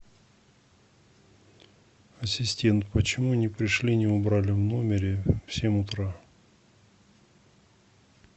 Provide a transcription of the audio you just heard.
ассистент почему не пришли не убрали в номере в семь утра